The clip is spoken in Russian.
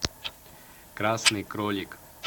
красный кролик